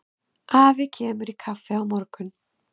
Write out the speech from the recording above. Afi kemur í kaffi á morgun.